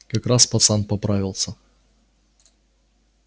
как раз пацан поправится